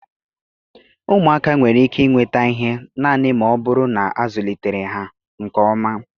Ụmụaka nwere ike nweta ihe naanị ma ọ bụrụ na a zụlitere ha nke ọma